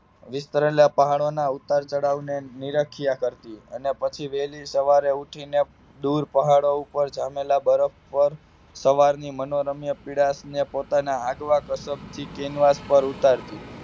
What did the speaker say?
વિસતેરલા પહાડોના ઉતાર-ચડાવ નીરખાયા કરતી અને પછી વહેલી સવારે ઊઠીને દૂર પહાડો પર જામેલા પર બરફ પર સવારની મનોમય ની પીડા ને પોતાના અડવા કસપ થી કેનવાસ પર ઉતારતી